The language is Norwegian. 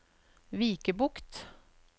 Vikebukt